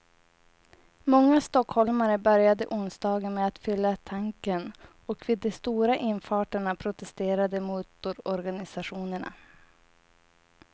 Många stockholmare började onsdagen med att fylla tanken och vid de stora infarterna protesterade motororganisationerna.